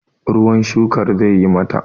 ruwan shukar zai yi mata!